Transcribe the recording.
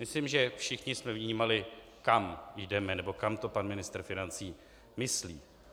Myslím, že všichni jsme vnímali, kam jdeme, nebo kam to pan ministr financí myslí.